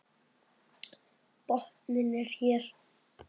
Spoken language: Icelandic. Botninn er hér!